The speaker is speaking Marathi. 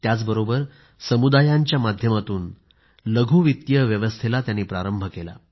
त्याचबरोबर समुदायांच्या माध्यमातून लघु वित्तीय व्यवस्थेला प्रारंभ केला